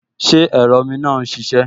Ṣé ẹ̀rọ omi náà n ṣiṣẹ́?